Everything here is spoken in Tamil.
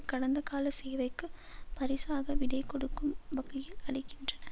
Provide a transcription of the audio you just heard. கடந்த கால சேவைக்கு பரிசாக விடைகொடுக்கும் வகையில் அளிக்கின்றன